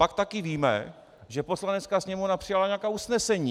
Pak taky víme, že Poslanecká sněmovna přijala nějaká usnesení.